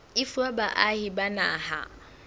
e fuwa baahi ba naha